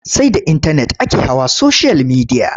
Sai da intanet ake hawa soshiyal midiya.